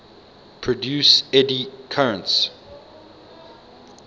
produce eddy currents